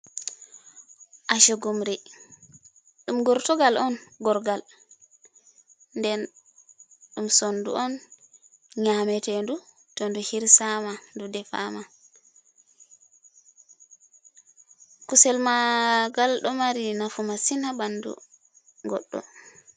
Ashugumri, ɗum gortogal on gorgal, den ɗum sondu on nyametedu to ndu hirsama defama kusel maagal do mari nafu masin ha ɓandu goddo.